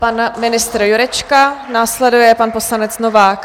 Pan ministr Jurečka, následuje pan poslanec Novák.